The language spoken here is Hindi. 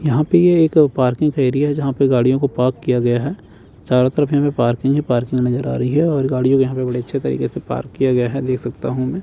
यहां पे ये एक पार्किंग एरिया जहां पे गाड़ियों को पार्क किया गया है चारों तरफ में पार्किंग ही पार्किंग नज़र आ रही है और गाड़ियों के यहां पे बड़े अच्छे तरीके से पार्क किया गया है देख सकता हूं मैं।